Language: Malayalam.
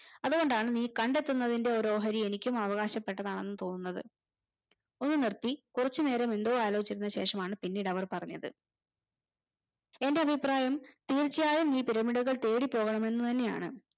അത് കൊണ്ടാണ് നീ കണ്ടെത്തുന്നത്തിന്റെ ഒരു ഓഹരി എനിക്കും അവകാശപെട്ടതാണെന്ന് തോന്നുന്നത് ഒന്ന് നിർത്തി കൊറച്ചു നേരം എന്തോ ആലോചിച്ചു ശേഷം ആണ് പിന്നീട് അവർ പറഞ്ഞത് എന്റെഅഭിപ്രായം തീർച്ചയായും നീ pyramid കൾ തേടി പോകണമെന്നു തന്നെയാണ്